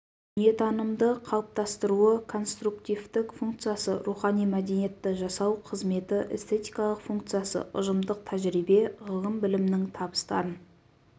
дүниетанымды қалыптастыруы конструктивтік функциясы рухани мәдениетті жасау қызметі эстетикалық функциясы ұжымдық тәжірибе ғылым-білімнің табыстарын